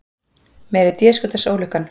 Meiri déskotans ólukkan.